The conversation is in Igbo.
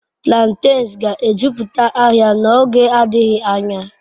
Plantains ga-ejupụta ahịa n'oge adịghị anya.